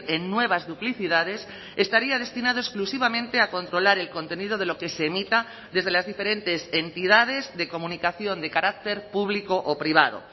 en nuevas duplicidades estaría destinado exclusivamente a controlar el contenido de lo que se emita desde las diferentes entidades de comunicación de carácter público o privado